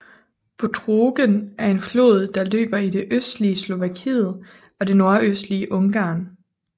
Bodrogen er en flod der løber i det østlige Slovakiet og det nordøstlige Ungarn